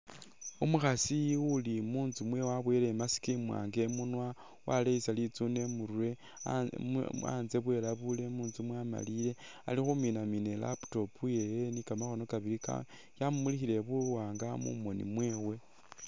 Umukhasi uli mutsu mwewe wabuwele i mask mwanga imunwa, waleyesa litsune imurwe anze bwilabule mutsu mwamaliye ali khuminamina i laptop yewe ni kamakhono kabili ka yamumulikhile buwanga mu moni mwewe.